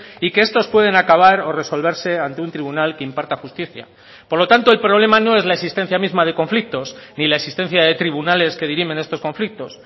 y que estos pueden acabar o resolverse ante un tribunal que imparta justicia por lo tanto el problema no es la existencia misma de conflictos ni la existencia de tribunales que dirimen estos conflictos